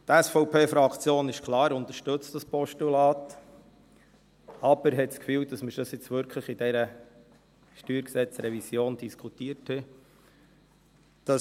Die SVP-Fraktion, das ist klar, unterstützt dieses Postulat, aber sie hat das Gefühl, dass wir das jetzt wirklich schon in dieser StG-Revision diskutiert haben.